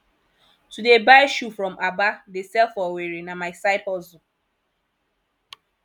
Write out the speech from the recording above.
to dey buy shoe from aba dey sell for owerri na my side hustle